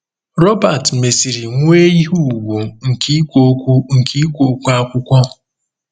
Robert mesịrị nwee ihe ùgwù nke ikwu okwu nke ikwu okwu akwụkwọ.